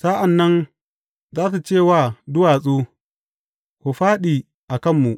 Sa’an nan za su ce wa duwatsu, Ku fāɗi a kanmu!